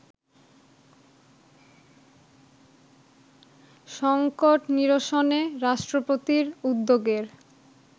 সংকট নিরসনে রাষ্ট্রপতির উদ্যোগের